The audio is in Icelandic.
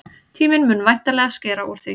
Tíminn mun væntanlega skera úr því.